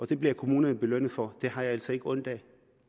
det bliver kommunerne belønnet for det har jeg altså ikke ondt af